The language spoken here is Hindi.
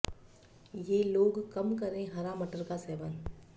ये लोग कम करें हरा मटर का सेवन